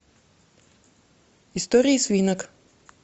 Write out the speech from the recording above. истории свинок